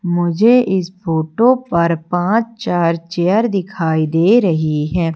मुझे इस फोटो पर पांच चार चेयर दिखाई दे रही हैं।